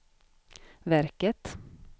verket